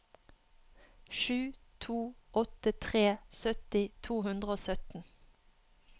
sju to åtte tre sytti to hundre og sytten